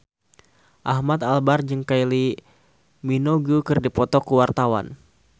Ahmad Albar jeung Kylie Minogue keur dipoto ku wartawan